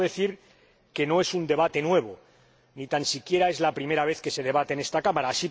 Debo decir que no es un debate nuevo, ni tan siquiera es la primera vez que se debate en esta Cámara.